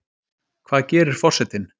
Hvað gerir forsetinn